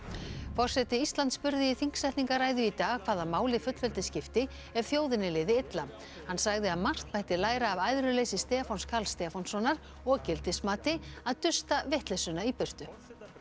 forseti Íslands spurði í þingsetningarræðu í dag hvaða máli fullveldi skipti ef þjóðinni liði illa hann sagði að margt mætti læra af æðruleysi Stefáns Karls Stefánssonar og gildismati að dusta vitleysuna í burtu